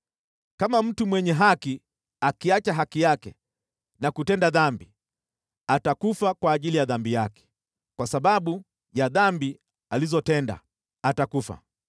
Kama mtu mwenye haki akiacha haki yake na kutenda dhambi, atakufa kwa ajili ya dhambi yake, kwa sababu ya dhambi alizotenda, atakufa.